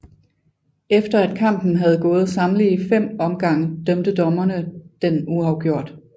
Efter at kampen havde gået samtlige 5 omgange dømte dommerne den uafgjort